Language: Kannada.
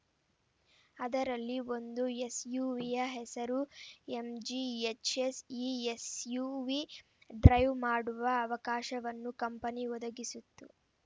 ಅದರಲ್ಲಿ ಒಂದು ಎಸ್‌ಯುವಿಯ ಹೆಸರು ಎಂಜಿ ಎಚ್‌ಎಸ್‌ ಈ ಎಸ್‌ಯುವಿ ಡ್ರೈವ್‌ ಮಾಡುವ ಅವಕಾಶವನ್ನು ಕಂಪನಿ ಒದಗಿಸಿತ್ತು